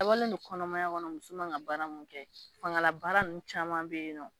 dabɔlen don kɔnɔmaya kɔnɔ muso man kan ka baara mun kɛ, fangala baara ninnu caman bɛ yen nɔ